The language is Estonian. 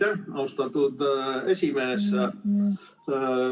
Aitäh, austatud esimees!